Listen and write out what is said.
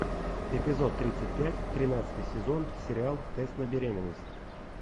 эпизод тридцать пять тринадцатый сезон сериал тест на беременность